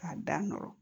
K'a da nɔrɔ